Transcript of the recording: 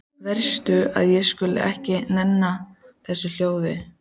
Verst að ég skuli ekki enn eiga þessi ljóð.